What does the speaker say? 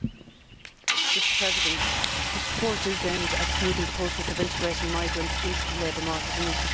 Mr President, this report is aimed at smoothing the process of integrating migrants into the labour market and into society.